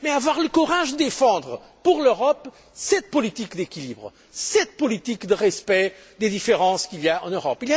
Mais avoir le courage de défendre, pour l'Europe, cette politique d'équilibre, cette politique de respect des différences qu'il y a en Europe.